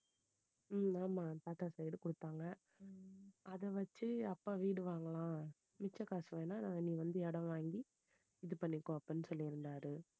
உம் ஆமா தாத்தா side கொடுத்தாங்க அதை வெச்சு அப்பா வீடு வாங்கலாம் மிச்ச காசு வேணும்னா நீ வந்து இடம் வாங்கி இது பண்ணிக்கோ அப்படின்னு சொல்லிருந்தாரு.